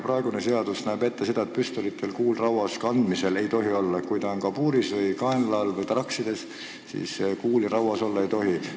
Praegune seadus näeb ette, et kandmisel ei tohi püstolil kuul rauas olla, kui püstol on kabuuris, kaenla all või traksides, siis kuul rauas olla ei tohi.